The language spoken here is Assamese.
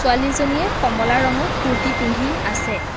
ছোৱালীজনীয়ে কমলা ৰঙৰ কুৰ্তী পিন্ধি আছে।